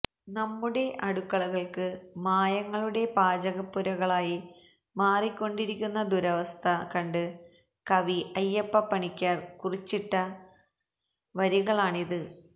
നമ്മുടെ അടുക്കളകള് മായങ്ങളുടെ പാചകപ്പുരകളായി മാറിക്കൊണ്ടിരിക്കുന്ന ദുരവസ്ഥ കണ്ട് കവി അയ്യപ്പപ്പണിക്കര് കുറിച്ചിവിട്ട വരികളാണിത്